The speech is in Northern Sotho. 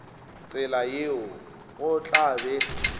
tsela yeo go tla be